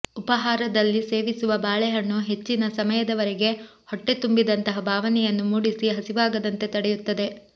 ಉಪಾಹಾರದಲ್ಲಿ ಸೇವಿಸುವ ಬಾಳೆಹಣ್ಣು ಹೆಚ್ಚಿನ ಸಮಯದವೆರೆಗೆ ಹೊಟ್ಟೆ ತುಂಬಿದಂತಹ ಭಾವನೆಯನ್ನು ಮೂಡಿಸಿ ಹಸಿವಾಗದಂತೆ ತಡೆಯುತ್ತದೆ